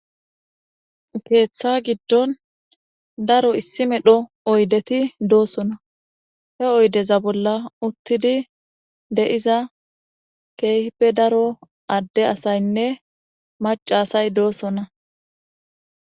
keeththa giddon daro issi medho oydeti doosona he oydeza bolla uttidi de'iza keehipe daro adde asaynne maca asay doosona